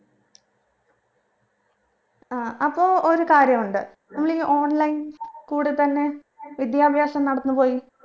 അഹ് അപ്പൊ ഒരു കാര്യമുണ്ട് നമ്മളീ online കൂടെത്തന്നെ വിദ്യാഭ്യാസം നടന്ന് പോയി